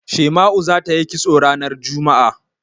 Shema'u za ta yi kisto ranar juma'a.